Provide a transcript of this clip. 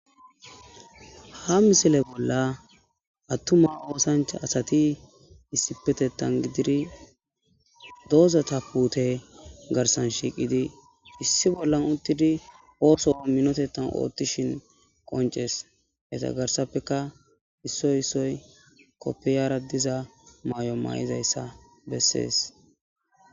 Ha misile bolla atuma osancha asati issipetetan gidid dozata puute garsan shiqid issi bolla utid osuwa minotetan otishn qonces. Iza garsapeka issoy issoy kofiyaratiza mayo maydayasa beses.